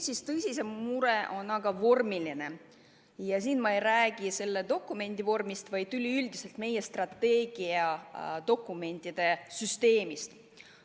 Aga tõsisem mure on vormiline, ja ma ei räägi mitte ainuüksi selle dokumendi vormist, vaid üleüldse meie strateegiadokumentide süsteemist.